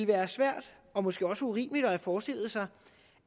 været svært og måske også urimeligt at forestille sig